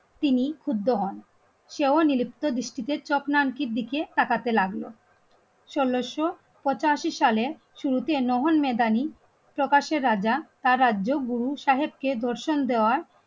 তিনি ক্ষুব্ধ হন সেও নিলুপ্ত ডিস্ট্রিকের চক্রান্তির দিকে তাকাতে লাগলো ষোলোশো পঁচাশি সালের শুরুতে প্রকাশ্যে রাজা তার রাজ্য গুরু সাহেবকে দর্শন দেওয়ার